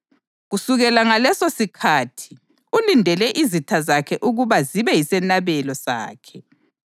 Kodwa kwathi umphristi lo esenikelele izikhathi zonke umhlatshelo owodwa wezono, wahlala phansi esandleni sokunene sikaNkulunkulu.